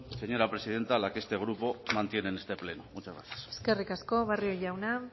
señora presidenta la que este grupo mantiene en este pleno muchas gracias eskerrik asko barrio jauna